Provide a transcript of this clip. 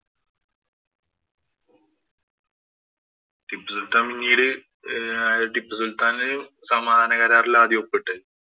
ടിപ്പു സുല്‍ത്താന്‍ പിന്നീട് ആഹ് ഏർ ടിപ്പു സുല്‍ത്താനും സമാധാന കരാറിലാ ആദ്യം ഒപ്പിട്ടത്.